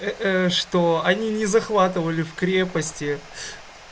э что они не захватывали в крепости